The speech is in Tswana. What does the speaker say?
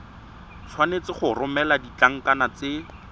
tshwanetse go romela ditlankana tse